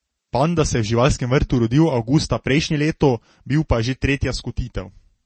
Panda se je v živalskem vrtu rodil avgusta prejšnje leto, bil pa je že tretja skotitev.